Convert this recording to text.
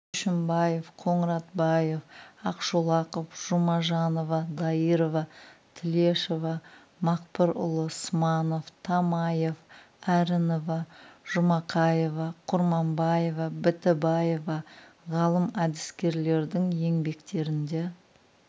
көшімбаев қоңыратбаев ақшолақов жұмажанова дайырова тілешова мақпырұлы сманов тамаев әрінова жұмақаева құрманбаева бітібаева ғалым әдіскерлердің еңбектерінде